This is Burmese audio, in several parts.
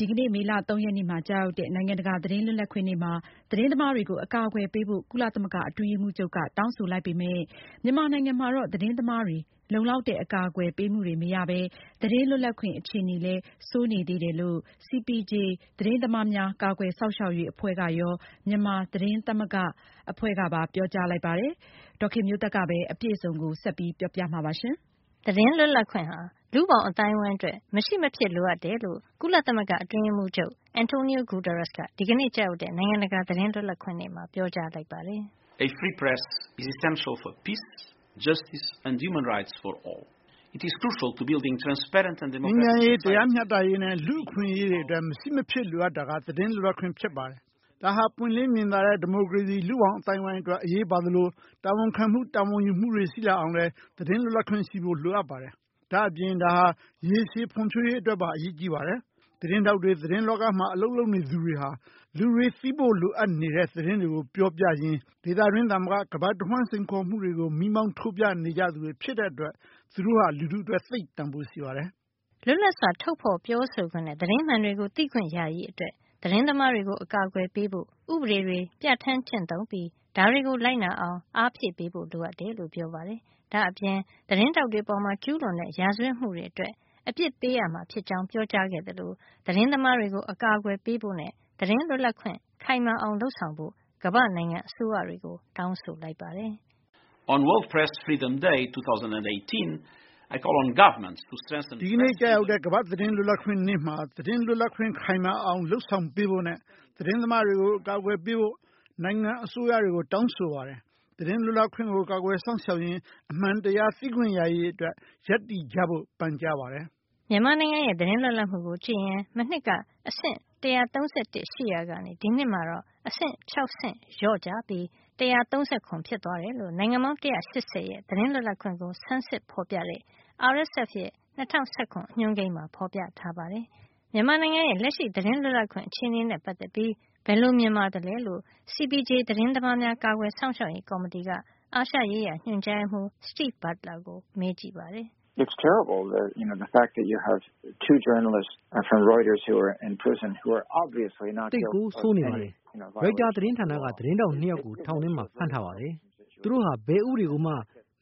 ဒီကနေ့ မေလ ၃ ရက်နေ့မှာ ကျရောက်တဲ့ နိုင်ငံတကာသတင်းလွတ်လပ်ခွင့်နေ့မှာ သတင်းသမားတွေကို အကာအကွယ်ပေးဖို့ ကုလသမဂ္ဂအတွင်းရေးမှုးချုပ်က တောင်းဆိုလိုက်ပေမယ့် မြန်မာနိုင်ငံမှာတော့ သတင်းသမားတွေ လုံလောက်တဲ့အကာကွယ်ပေးမှုတွေမရပဲ သတင်းလွတ်လပ်ခွင့် အခြေနေလည်း ဆိုးနေတယ်လို့ CPJ သတင်းသမားများ ကာကွယ်စောင့်ရှောက်ရေး အဖွဲ့ကရော မြန်မာသတင်းသမဂ္ဂကပါ ပြောကြားလိုက်ပါတယ်။ အပြည့်အစုံကို ဒေါ်ခင်မျိုးသက်က ပြောပြပေးမှာပါ။ သတင်းလွတ်လပ်ခွင့်ဟာ လူ့ဘောင်အသိုင်းအဝိုင်းအတွက် မရှိမဖြစ်လိုအပ်တယ်လို့ ကုလသမဂ္ဂအတွင်းရေးမှုးချုပ် Antonio Guterrues က ဒီကနေ့ကျရောက်တဲ့ နိုင်ငံတကာသတင်းလွတ်လပ်ခွင့်နေ့မှာ ပြောကြားလိုက်ပါတယ်။ “ငြိမ်းချမ်းရေး၊ တရားမျှတရေးနဲ့ လူ့အခွင့်ရေးတွေအတွက် မရှိမဖြစ်လိုအပ်တာက သတင်းလွတ်လပ်ခွင့်ပါ။ ဒါဟာပွင့်လင်းမြင်သာတဲ့ ဒီမိုကရေစီ လူ့ဘောင်အသိုင်းအဝိုင်းအတွက် အရေးပါသလို တာဝန်ခံတာဝန်ယူမှုတွေ ရှိလာအောင်လည်း သတင်းလွတ်လပ်ခွင့်ရှိဖို့ လိုပါတယ်။ ဒါ့အပြင် ဒါဟာ ရေရှည်ဖွံ့ဖြိုးရေးအတွက်ပါ အရေးပါတာပါ။ သတင်းထောက်တွေ၊ သတင်းလောကမှာ အလုပ်လုပ်နေသူတွေဟာ လူတွေသိဖို့လိုအပ်နေတဲ့ သတင်းတွေကို ပြောပြရင်း ဒေသတွင်းသာမက ကမ္ဘာတဝှမ်း စိန်ခေါ်မှုတွေကို မီးမောင်းထိုးပြနေကြသူတွေမို့ သူတို့ဟာ လူထုအတွက် သိပ်တန်ဖိုးရှိပါတယ်။” လွတ်လပ်စွာ ထုတ်ဖေါ်ပြောဆိုခွင့်နဲ့ သတင်းမှန်တွေသိခွင့်ရရေးအတွက် သတင်းသမားတွေကို အကာကွယ်ပေးဖို့ ဥပဒေတွေ ပြဌာန်း၊ ကျင့်သုံးပြီး ဒါတွေကို လိုက်နာအောင် အားဖြည့်ပေးဖို့ လိုအပ်တယ်လို့ ပြောပါတယ်။ ဒါ့အပြင် သတင်းထောက်တွေအပေါ် ကျူးလွန်တဲ့ ရာဇဝတ်မှုတွေ အတွက် ကျူးလွန်သူတွေကို အပစ်ပေးရမှာ ဖြစ်ကြောင်းပြောကြားခဲ့သလို သတင်းသမားတွေကို အကာကွယ်ပေးဖို့နဲ့ သတင်းလွတ်လပ်ခွင့် ခိုင်မာအောင် လုပ်ဆောင်ဖို့ ကမ္ဘာ့နိုင်ငံအစိုးရတွေကို တောင်းဆိုလိုက်ပါတယ်။ “ဒီကနေ့ ကျရောက်တဲ့ကမ္ဘာ့ သတင်းလွတ်လပ်ခွင့်နေ့မှာ သတင်းလွတ်လပ်ခွင့် ခိုင်မာအောင်လုပ်ဆောင်ပေးဖို့နဲ့ သတင်းသမားတွေကို အကာကွယ်ပေးဖို့ နိုင်ငံ့အစိုးရတွေကို တောင်းဆိုပါတယ်။ သတင်းလွတ်လပ်ခွင့်ကို ကာကွယ်စောင့်ရှောက်ရင်း အမှန်တရားသိခွင့်ရရေး အတွက် ရပ်တည်ဖို့ပါပန်ကြားပါတယ်။” မြန်မာနိုင်ငံရဲ့ သတင်းလွတ်လပ်မှုကိုကြည့်ရင် မနှစ်က အဆင့် ၁၃၁ ရှိခဲ့ရာက ဒီနှစ်မှာတော့ အဆင့် ၆ ဆင့် လျော့ကျပြီး အဆင့် ၁၃၇ ဖြစ်သွားတယ်လို့ နိုင်ငံပေါင်း ၁၈၀ ရဲ့ သတင်းလွတ်လပ်ခွင့်ကို ဆန်းစစ်ဖေါ်ပြတဲ့ RSF နယ်စည်းမခြားသတင်းထောက်များအဖွဲ့ရဲ့ ၂၀၁၇ အညွှန်းကိန်းမှာ ဖေါ်ပြထားပါတယ်။ မြန်မာနိုင်ငံရဲ့ လက်ရှိသတင်းလွတ်လပ်ခွင့်အခြေနေနဲ့ ပတ်သက်ပြီး ဘယ်လိုမြင်ပါသလဲလို့ CPJ သတင်းသမားများ ကာကွယ်စောင့်ရှောက်ရေး ကော်မတီက အာရှရေးရာ ညွှန်ကြားရေးမှုး Steve Butler ကို မေးကြည့်ပါတယ်။ “သိပ်ကို ဆိုးနေပါတယ်။ ရိုက်တာသတင်းဌာနက သတင်းထောက် ၂ ယောက်ကို ထောင်ထဲမှာ ဖမ်းထားပါတယ်။ သူတို့ဟာ ဘယ်ဥပဒေကိုမှ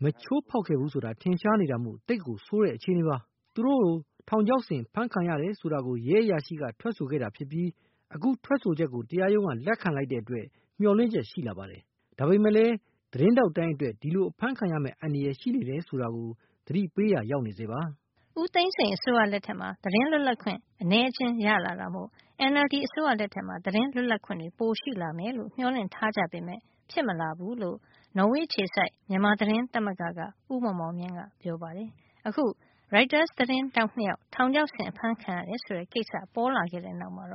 မချိုးဖေါက်ခဲ့ဘူးဆိုတာ ထင်ရှားနေတာမို့ သိပ်ကို ဆိုးတဲ့ အခြေနေပါ။ သူတို့တွေ ထောင်ချောက်ဆင်အဖမ်းခံရတယ် ဆိုတာကို ရဲအရာရှိက ထွက်ဆိုခဲ့တာ ဖြစ်ပြီး အခု ဒီထွက်ချက်ကို တရားရုံးက လက်ခံလိုက်တဲ့အတွက် မျှော်လင့်ချက်တော့ ရှိလာပါတယ်။ ဒါပေမယ့်လည်း သတင်းထောက်တိုင်းအတွက် ဒီလိုအဖမ်းခံရမယ့် အန္တရာယ် ရှိနေတယ် ဆိုတာကို သတိပေးရာ ရောက်နေဆဲပါ။” ဦးသိန်းစိန်အစိုးရလက်ထက်မှာ သတင်းလွတ်လပ်ခွင့် အနဲအကျဉ်းရလာတာမို့ NLD အစိုးရလက်ထက်မှာ သတင်းလွတ်လပ်ခွင့် ပိုရှိလာမယ် မျှော်လင့်ထားကြပေမယ့် ဖြစ်မလာဘူးလို့ နော်ဝေအခြေစိုက် မြန်မာသတင်းသမဂ္ဂ ဥက္ကဌ ဦးမောင်မောင်မြင့်က ပြောပါတယ်။ အခု ရိုက်တာ သတင်းထောက် ၂ ယောက် ထောင်ချောက်ဆင် အဖမ်းခံရတယ်ဆိုတဲ့ကိစ္စ ပေါ်လာတဲ့နောက်မှာ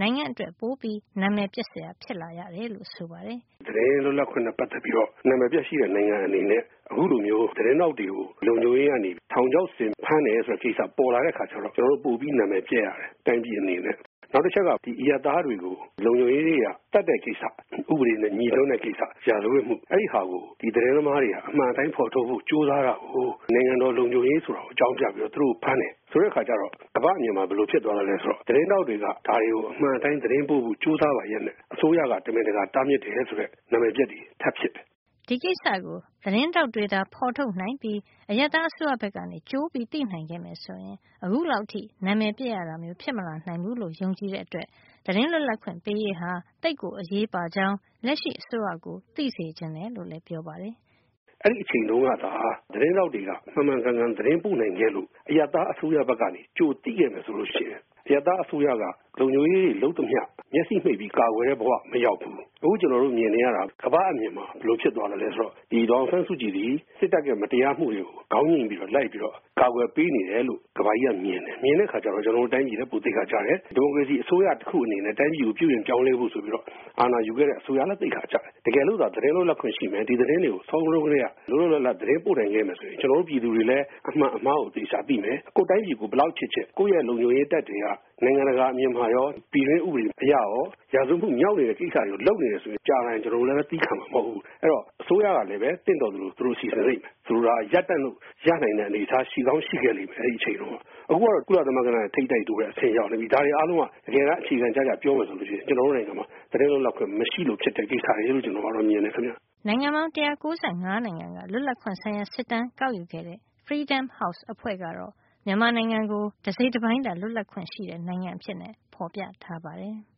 နိုင်ငံအတွက် ပိုပြီးနံမယ်ပျက်စရာ ဖြစ်ရတယ်လို့ ဆိုပါတယ်။ “သတင်းလွတ်လပ်ခွင့်နဲ့ ပတ်သက်ပြီးတော့ နံမယ်ပျက် ရှိတဲ့ နိုင်ငံအနေနဲ့ အခုလိုမျိုး သတင်းထောက်တွေကို လုံခြုံရေးကနေ ထောင်ချောက်ဆင် ဖမ်းတယ်ဆိုတဲ့ ကိစ္စပေါ်လာတဲ့ အခါကျတော့ ကျွန်တော်တို့ ပိုပြီးနံမယ်ပျက်ရတယ်။ တိုင်းပြည်အနေနဲ့။ နောက်တချက်က အရပ်သားတွေကို လုံခြုံရေးတွေက သတ်တဲ့ကိစ္စပေါ့နော်။ ဥပဒေနဲ့ ငြိစွန်းတဲ့ ကိစ္စ၊ ရာဇဝတ်ပြစ်မှု။ အဲဒီဟာကို ဒီသတင်းသမား တွေက အမှန်အတိုင်း ဖေါ်ထုတ်ဖို့ ကြိုးစားတာကို နိုင်ငံတော် လုံခြုံရေး ဆိုတာနဲ့ အကြောင်းပြပြီးတော့ သူတို့ကို ဖမ်းတယ်။ ဆိုတဲ့အခါကျတော့ ကမ္ဘာ့အမြင်မှာ ဘယ်လိုဖြစ်သွားမလဲ ဆိုတော့၊ သတင်းထောက်တွေက ဒါတွေကို အမှန်အတိုင်းသတင်းပို့ဖို့ ကြိုးစားပါလျက်နဲ့ အစိုးရက တမင်တကာ တားမြစ်တယ်၊ ဆိုတဲ့ နံမယ်ပျက်တာ ထပ်ဖြစ်တယ်။” ဒီကိစ္စကို သတင်းထောက်တွေသာ ဖေါ်ထုတ်နိုင်ပြီး အရပ်သားအစိုးရဘက်က ကြိုသိနိုင်မယ်ဆိုရင် အခုလောက်အထိ နံမယ်ပျက်ရတာမျိုး မဖြစ်မလာနိုင်ဘူးလို့လည်း ယုံကြည်တဲ့အတွက် သတင်းလွတ်လပ်ခွင့်ပေးရေးဟာ သိပ်ကို အရေးပါကြောင်း လက်ရှိအစိုးရကို သိစေချင်တယ်လို့လည်း ပြောပါတယ်။ "အဲဒီအချိန်တုန်းကသာ ဒီသတင်းထောက်တွေက မှန်မှန်ကန်ကန် သတင်းပို့နိုင်ခဲ့လို့ အရပ်သား အစိုးရဘက်ကနေ ကြိုသိခဲ့မယ် ဆိုလို့ ရှိရင် အရပ်သားအစိုးရက လုံခြုံရေးတွေ လုပ်သမျှကို မျက်စိမှိတ်ပြီး ကာကွယ်တဲ့ ဘဝကို မရောက်ဖူး။ အခု ကျွန်တော်တို့ မြင်နေရတာက ကမ္ဘာ့အမြင်မှာ ဘယ်လိုဖြစ်သွား သလဲ ဆိုတော့ ဒီဒေါ်အောင်ဆန်းစုကြည်သည် စစ်တပ်ရဲ့ မတရားမှုတွေကို ခေါင်းညှိမ့်ပြီးတော့ လိုက်ပြီးတော့ ကာကွယ်ပေးနေတယ်လို့ ကမ္ဘာကြီးက မြင်တယ်။ မြင်တဲ့အခါကျတော့ ကျွန်တော်တို့ တိုင်းပြည်လည်း ပိုသိက္ခာ ကျတယ်။ ဒီမိုကရေစီအစိုးရ တခုအနေနဲ့လည်း တိုင်းပြည်ကို ပြုပြင်ပြောင်းလဲဖို့ဆိုပြီး အာဏာယူခဲ့တဲ့ အစိုးရအနေနဲ့လည်း သိက္ခာ ကျတယ်။ တကယ်လို့သာ သတင်းသမားတွေသာ လွတ်လပ်ခွင့်ရှိမယ်။ ဒီသတင်းတွေကို စောစောတုန်းကတည်းက လွတ်လွတ်လပ်လပ် သတင်းပို့နိုင် ခဲ့မယ် ဆိုရင် ကျွန်တော်တို့ပြည်သူတွေလည်း အမှန်အမှားကို ကိုယ်တိုင်သိမယ်။ ကိုယ့်တိုင်းပြည်ကို ဘယ်လောက်ပဲ ချစ်ချစ် ကိုယ့်ရဲ့ လုံခြုံရေးတပ်တွေက နိုင်ငံတကာ အမြင်မှာရော ပြည်တွင်း ဥပဒေ အရရော၊ ရာဇဝတ်မှု မြောက်နေတဲ့ ကိစ္စတွေကို လုပ်နေတယ် ဆိုရင် ကြာလာရင် ကျွန်တော်တို့လည်း သည်းခံမှာ မဟုတ်ဖူး။ အဲဒီတော့ အစိုးရကလည်း သင့်တော်သလို သူတို့စီစဉ်လိမ့်မယ်။ ဆိုလိုတာက ရပ်တံ့လို့ ရနိုင်တဲ့ အနေထားရှိကောင်း ရှိခဲ့လိမ့်မယ်။ အဲဒီအချိန်ကို။ အခုတော့ ကုလသမဂ္ဂနဲ့ ထိပ်တိုက် တိုးရတဲ့ အချိန်ရောက်နေပြီ။ ဒါတွေ အားလုံးက တကယ်တမ်း အခြေခံကျကျ ပြောရမယ် ဆိုလို့ရှိရင် ကျွန်တော်တို့ နိုင်ငံမှာ သတင်းလွတ်လပ်ခွင့် မရှိလို့ ဖြစ်တဲ့ ကိစ္စရပ်တွေလို့ ကျွန်တော်ကတော့ ဒီအတိုင်း မြင်တယ်ခင်ဗျ။" နိုင်ငံပေါင်း ၁၉၅ နိုင်ငံက လွတ်လပ်ခွင့်ဆိုင်ရာ စစ်တမ်းကောက်ယူခဲ့တဲ့ Freedom House အဖွဲ့ကတော့ မြန်မာနိုင်ငံကို တစိတ်တပိုင်းသာ လွတ်လပ်ခွင့်ရှိတဲ့ နိုင်ငံအဖြစ် ဖေါ်ပြထားပါတယ်။